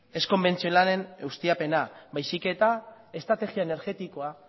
ez konbentzionalen ustiapena baizik eta estrategia energetikoa